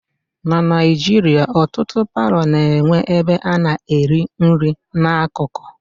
Na Naijiria ọtụtụ palọ na-enwe ebe a na-eri nri na akụkụ